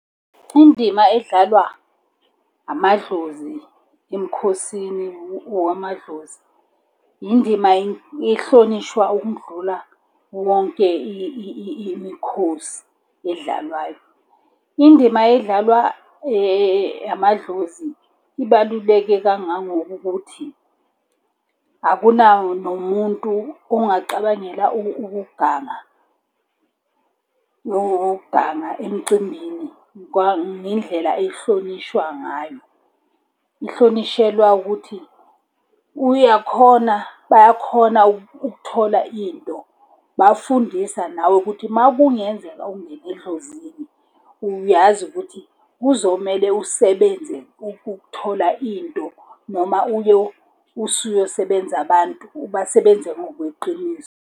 Indima edlalwa amadlozi emikhosini wamadlozi. Indima ehlonishwa ukundlula wonke imikhosi edlalwayo. Indima edlalwa amadlozi ibaluleke kangangokokuthi akunawo nomuntu ongacabangela ukuganga. Nowokuganga emcimbini ngendlela ehlonishwa ngayo. Ihlonishelwa ukuthi, uyakhona bayakhona ukuthola into, bayakufundisa nawe ukuthi uma kungenzeka ungene edlozini, uyazi ukuthi kuzomele usebenze ukuthola into. Noma uyo usuyosebenza abantu, ubasebenze ngokweqiniso.